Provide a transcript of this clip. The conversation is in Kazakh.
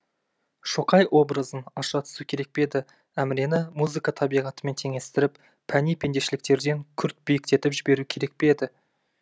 шоқай образын аша түсу керек пе еді әмірені музыка табиғатымен теңестіріп пәни пендешіліктерден күрт биіктетіп жіберу керек пе еді